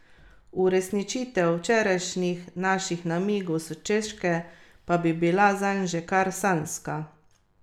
Uresničitev včerajšnjih naših namigov s Češke pa bi bila zanj že kar sanjska!